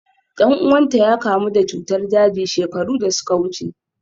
Dan uwanta ya kamu da cutar daji shekaru da suka wuce.